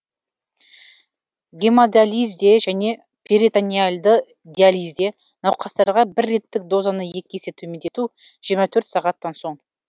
гемодализде және перитонеальды диализде науқастарға бір реттік дозаны екі есе төмендету жиырма төрт сағаттан соң